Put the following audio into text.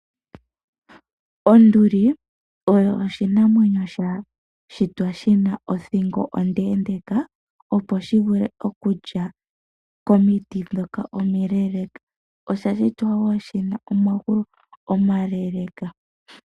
Onduli oyo oshinamwenyo sha shitwa shi na othingo ondeendeeka, opo shi vule okulya komiti ndhoka omileeeleka. Osha shitwa wo shi na omagulu omaleeleeka.